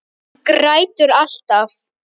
Hún grætur alltaf.